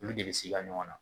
Olu de bɛ siga ɲɔgɔn na